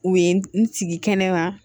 U ye n sigi kɛnɛma